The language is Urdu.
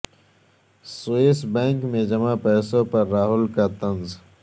سوئس بینک میں جمع پیسوں پر راہل کا طنز